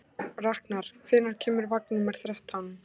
Raknar, hvenær kemur vagn númer þrettán?